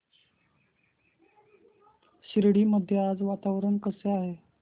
शिर्डी मध्ये आज वातावरण कसे आहे